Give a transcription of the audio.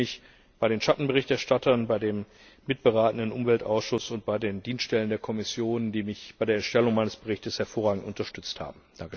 Ich bedanke mich bei den Schattenberichterstattern, beim mitberatenden Umweltausschuss und bei den Dienststellen der Kommission, die mich bei der Erstellung meines Berichts hervorragend unterstützt haben.